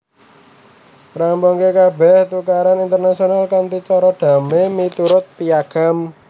Ngrampungaké kabèh tukaran internasional kanthi cara damai miturut Piagam